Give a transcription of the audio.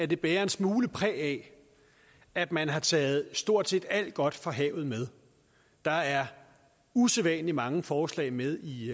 det bærer en smule præg af at man har taget stort set alt godt fra havet med der er usædvanlig mange forslag med i